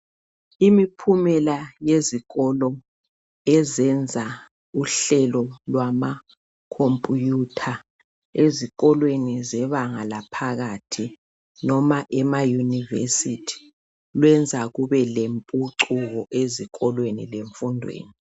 Imiphumela yezikolo eziyenza uhlelo lwamakhomphutha ezikolweni zebanga laphakathi noma emayunivesithi luyenza kube lwemphucuko ezikolweni lemfundweni.